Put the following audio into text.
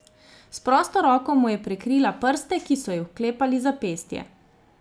S prosto roko mu je prekrila prste, ki so ji vklepali zapestje.